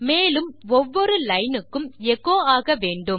மேலும் ஒவ்வொரு லைனுக்கும் எச்சோ ஆக வேண்டும்